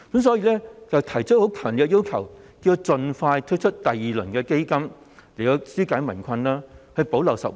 所以，他們提出強烈的要求，要政府盡快推出第二輪基金，以紓解民困，補漏拾遺。